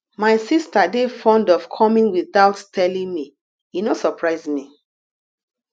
my sista dey fond of coming witout telling me e no surprise me